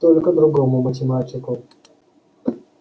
только другому математику